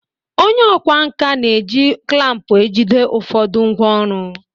Onye ọkwá nkà na-eji klampu ejide ụfọdụ ngwaọrụ.